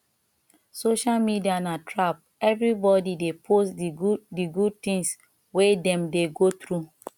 social media na trap everybody dey post di good di good things wey dem dey go through